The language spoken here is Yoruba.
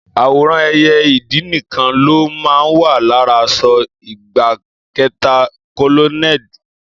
Àwòrán ẹyẹ ìdì nìkan ló máa ń wà lára aṣọ ìgbákẹta kólónẹ́ẹ̀lì.